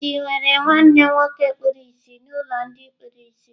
Chidi nwere nwanne nwoke kpuru ìsì n'ụlọ ndị kpuru ìsì.